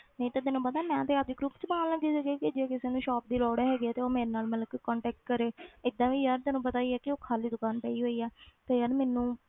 ਨਹੀਂ ਤੇ ਤੈਨੂੰ ਪਤਾ ਮੈਂ ਤੇ ਆਪਦੇ group 'ਚ ਪਾਉਣ ਲੱਗੀ ਸੀਗੀ ਕਿ ਜੇ ਕਿਸੇ ਨੂੰ shop ਦੀ ਲੋੜ ਹੈਗੀ ਹੈ ਤੇ ਉਹ ਮੇਰੇ ਨਾਲ ਮਤਲਬ ਕਿ contact ਕਰੇ ਏਦਾਂ ਵੀ ਯਾਰ ਤੈਨੂੰ ਪਤਾ ਹੀ ਹੈ ਕਿ ਉਹ ਖਾਲੀ ਦੁਕਾਨ ਪਈ ਹੋਈ ਹੈ ਤੇ ਯਾਰ ਮੈਨੂੰ